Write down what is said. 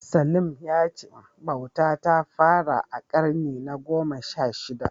Salim ya ce bauta ta fara a ƙarni na gona sha shida.